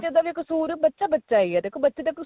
ਦਾ ਵੀ ਕਸੂਰ ਬੱਚਾ ਬੱਚਾ ਈ ਏ ਦੇਖੋ ਬੱਚੇ ਦਾ